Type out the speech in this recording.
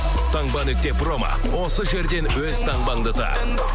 таңба нүкте промо осы жерден өз таңбаңды тап